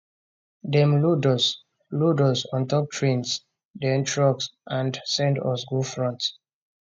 dem load us load us ontop trains den trucks and send us go front